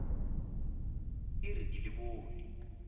e re ke le bone